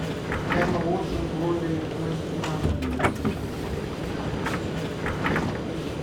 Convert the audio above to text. эмма уотсон в роли мага